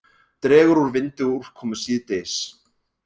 Dregur úr vindi og úrkomu síðdegis